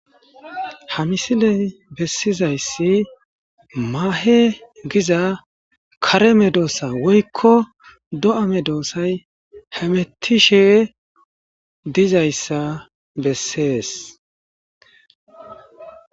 ha misiley bessizayssi mahe giza kare medoosa woykko do7a medoosay hemettishe dizayssa bessees.